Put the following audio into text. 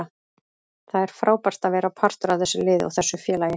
Það er frábært að vera partur af þessu liði og þessu félagi.